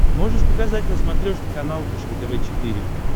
можешь показать на смотрешке канал фэшен тв четыре к